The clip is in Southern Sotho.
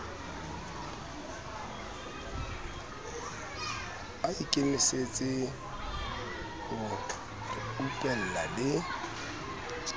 a ikemisetse ho reupella le